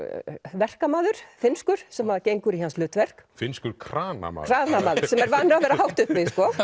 verkamaður finnskur sem gengur í hans hlutverk finnskur sem er vanur að vera hátt uppi